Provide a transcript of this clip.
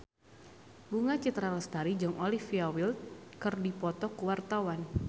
Bunga Citra Lestari jeung Olivia Wilde keur dipoto ku wartawan